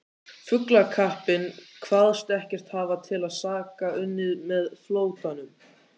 Flugkappinn kvaðst ekkert hafa til saka unnið með flóttanum.